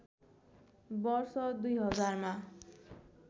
वर्ष २००० मा